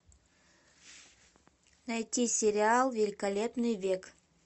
найти сериал великолепный век